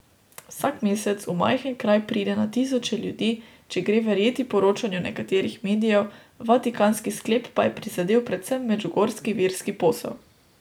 Vsak mesec v majhen kraj pride na tisoče ljudi, če gre verjeti poročanju nekaterih medijev, vatikanski sklep pa je prizadel predvsem medžugorski verski posel.